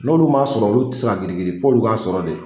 N'olu m'a sɔrɔ olu te se ka girin girin f'o olu k'a sɔrɔ de